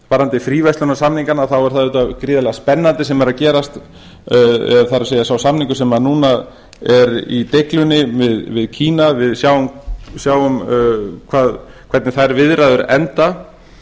varðandi fríverslunarsamningana er það auðvitað gríðarlega spennandi sem er að gerast það er sá samningur sem núna er í deiglunni við kína við sjáum hvernig þær viðræður enda